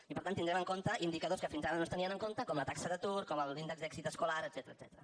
i per tant tindrem en compte indicadors que fins ara no es tenien en compte com la taxa d’atur com l’índex d’èxit escolar etcètera